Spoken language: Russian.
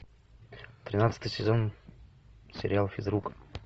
тринадцатый сезон сериал физрук